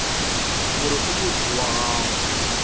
gore o motho wa go